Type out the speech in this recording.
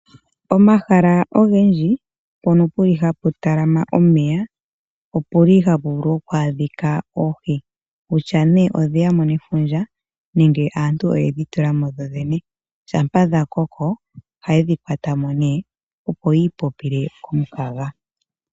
Omahala ogendji mpono puli hapu talama omeya, opuli hapu vulu oku adhika ooohi. Kutya nee odhe ya mo nefundja nenge aantu oyedhi tula mo yoyene. Shampa dha koko ohaye dhi kwata mo nee, opo ya ipopile komukaga